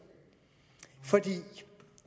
for